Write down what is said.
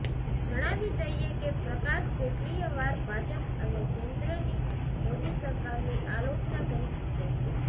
જણાવી દઈએ કે પ્રકાશ કેટલીય વાર ભાજપ અને કેન્દ્રની મોદી સરકારની આલોચના કરી ચૂક્યા છે